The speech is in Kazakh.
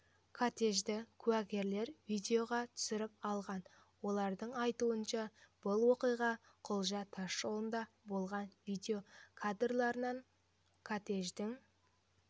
кортежді куәгерлер видеоға түсіріп алған олардың айтуынша бұл оқиға құлжа тасжолында болған видео кадрларынан кортеждің